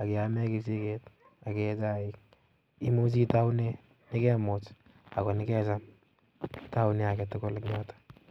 ak kiame kechegit ak kee chai imuche itaunen chekemuch, ako nekecham itounen agetugul eng yoton